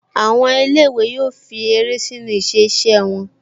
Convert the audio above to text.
Àwọn ilé-ìwé yóò fi eré sínu iṣẹ́-ìse wọn